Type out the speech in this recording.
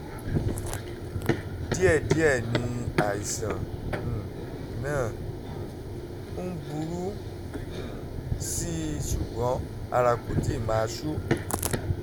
díẹ̀ díẹ̀ ni àìsàn um náà um ń burú um sí i ṣùgbọ́n ara kò tíì máa ṣú